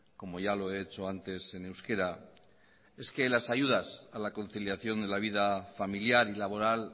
como ya lo he hecho antes en euskera es que las ayudas a la conciliación de la vida familiar y laboral